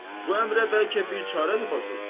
Bu əmrə bəlkə bir çarə tapasız.